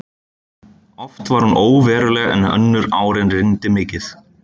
Oft var hún óveruleg en önnur árin rigndi mikið.